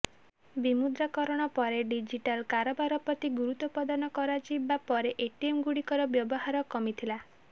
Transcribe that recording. ବିମୁଦ୍ରାକରଣ ପରେ ଡିଜିଟାଲ୍ କାରବାର ପ୍ରତି ଗୁରୁତ୍ୱ ପ୍ରଦାନ କରାଯିବା ପରେ ଏଟିଏମ୍ଗୁଡ଼ିକର ବ୍ୟବହାର କମିଥିଲା